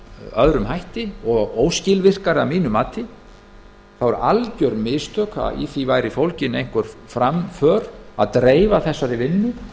öðrum hætti og óskilvirkari að mínu mati það var algjör misskilningur að í því væri fólgin einhver framför að dreifa þessari vinnu